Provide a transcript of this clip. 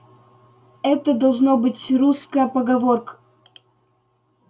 это должно быть русска поговорк